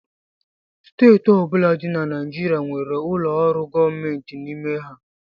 Steeti ọ bụla dị na Naịjirịa nwere ụlọ ọrụ gọọmentị n'ime ha